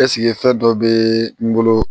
Ɛseke fɛn dɔ bɛ n bolo